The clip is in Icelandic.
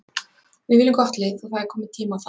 Við viljum gott lið og það er kominn tími á það.